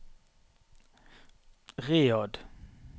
Riyadh